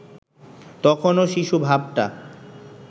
তখনো শিশু ভাবটা